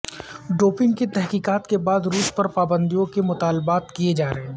doping کی تحقیقات کے بعد روس پر پابندیوں کے مطالبات کیے جا رہے ہیں